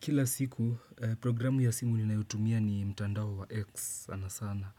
Kila siku programu ya simu ninayotumia ni mtandao wa X sana sana.